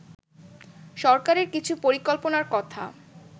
সরকারের কিছু পরিকল্পনার কথা